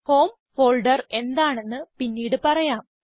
home folder എന്താണെന്ന് പിന്നീട് പറയാം